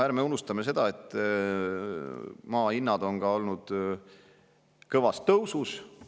Ärme unustame seda, et maa hinnad on olnud järsus tõusus.